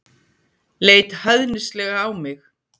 Leit hæðnislega á mig.